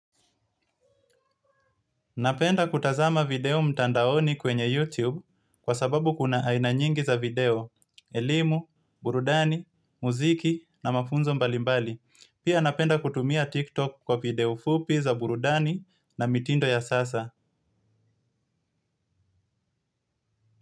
Napenda kutazama video mtandaoni kwenye YouTube kwa sababu kuna aina nyingi za video, elimu, burudani, muziki na mafunzo mbalimbali. Pia napenda kutumia TikTok kwa video fupi za burudani na mitindo ya sasa.